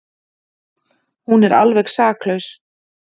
Hún er alveg saklaus.